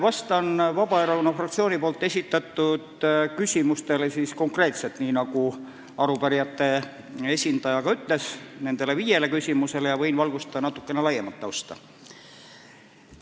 Vastan Vabaerakonna fraktsiooni esitatud viiele konkreetsele küsimusele, aga nagu arupärijate esindaja palus, võin valgustada ka natukene laiemat tausta.